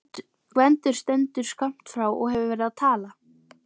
Gvendur stendur skammt frá og hefur verið að tala.